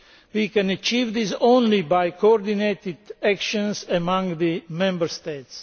We can achieve this only by coordinated action among the Member States.